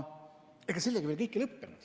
Ega sellega veel kõik ei lõppenud.